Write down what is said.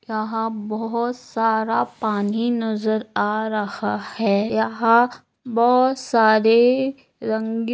यहा बहुत सारा पानी नजर आ रहा है यहा बहुत सारे रंगी--